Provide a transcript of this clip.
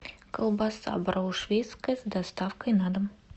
колбаса брауншвейгская с доставкой на дом